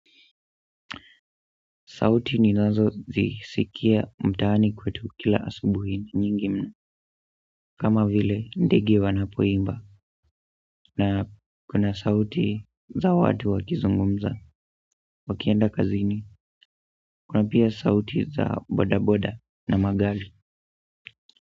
Sauti ninazozisikia mtaani kwetu kila asubuhi nyingi ni kama vile ndege wanapoimba na kuna sauti za watu wakizungumza. Wakienda kazini kuna pia sauti za bodaboda na magari.